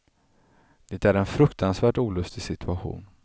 Det är en fruktansvärt olustig situation.